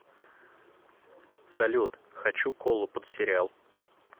салют хочу колу под сериал